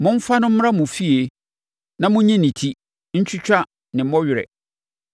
Momfa no mmra mo fie na monyi ne ti, ntwitwa ne mmɔwerɛ,